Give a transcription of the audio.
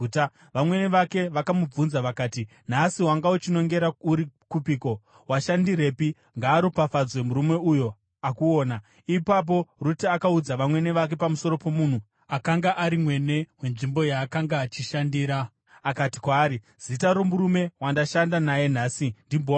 Vamwene vake vakamubvunza vakati, “Nhasi wanga uchinongera uri kupiko? Washandirepi? Ngaaropafadzwe murume uyo akuona.” Ipapo Rute akaudza vamwene vake pamusoro pomunhu akanga ari mwene wenzvimbo yaakanga achishandira. Akati kwaari, “Zita romurume wandashanda naye nhasi ndiBhoazi.”